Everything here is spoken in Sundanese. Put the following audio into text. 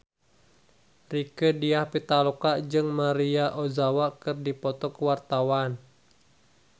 Rieke Diah Pitaloka jeung Maria Ozawa keur dipoto ku wartawan